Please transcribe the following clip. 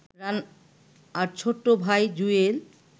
তার ছোট ভাই জুয়েল